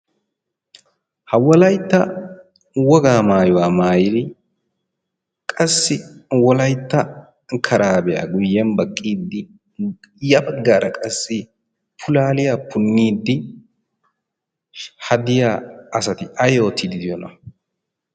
ha wolaytta wogaa maayuwaa maayiri qassi wolaitta karaabiyaa guyyyen baqqiiddi ya baggaara qassi pulaaliya punniiddi hadiya asati ay oottiidi diyoona?